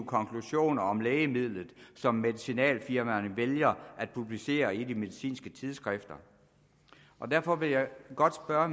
konklusioner om lægemidlet som medicinalfirmaerne vælger at publicere i de medicinske tidsskrifter derfor vil jeg godt spørge